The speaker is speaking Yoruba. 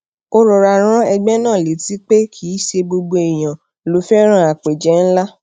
ó rọra rán egbe náà létí pé kì í ṣe gbogbo èèyàn ló féràn àpéje ńlá